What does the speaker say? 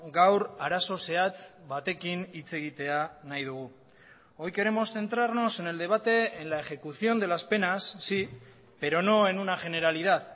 gaur arazo zehatz batekin hitz egitea nahi dugu hoy queremos centrarnos en el debate en la ejecución de las penas sí pero no en una generalidad